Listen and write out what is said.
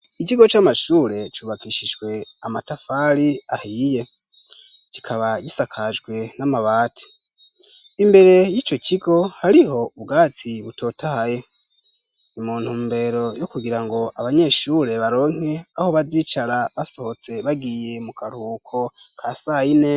Ikigo c'amashure cubakishijwe amatafari ahiye kikaba gisakajwe n'amabati, imbere yico kigo hariho ubwatsi butotaye ni muntumbero yo kugirango abanyeshure baronke aho bazicara basohotse bagiye mu karuhuko ka sayine.